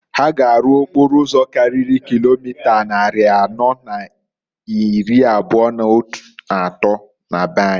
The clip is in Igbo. Ha ga arụ okporo ụzọ karịrị kilomita nnarị anọọ na n'ịrị abụa n'atọọ na be anyị.